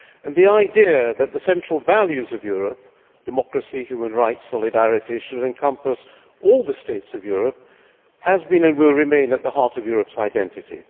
And the idea that the central values of Europe democracy, human rights, solidarity should encompass all the states of Europe has been, and will remain, at the heart of Europe's identity.